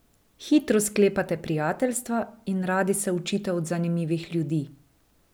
Hitro sklepate prijateljstva in radi se učite od zanimivih ljudi.